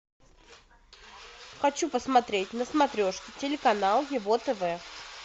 хочу посмотреть на смотрешке телеканал его тв